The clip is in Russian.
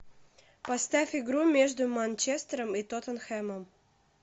поставь игру между манчестером и тоттенхэмом